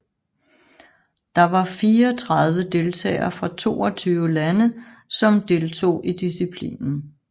Der var fireogtredive deltagere fra toogtyve lande som som deltog i disciplinen